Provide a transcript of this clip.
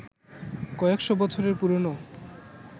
কয়েকশ বছরের পুরনো